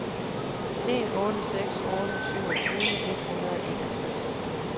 en otte seks otte syvogtyve et hundrede og enogtres